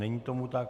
Není tomu tak.